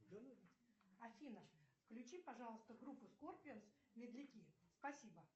афина включи пожалуйста группу скорпионс медляки спасибо